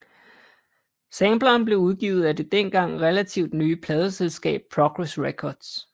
Sampleren blev udgivet af det dengang relativt nye pladeselskab Progress Records